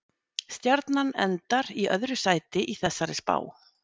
Stjarnan endar í öðru sæti í þessari spá.